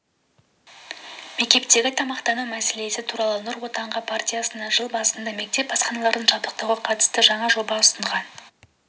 мектептегі тамақтану мәселесі туралы нұр отан партиясы жыл басында мектеп асханаларын жабдықтауға қатысты жаңа жоба ұсынған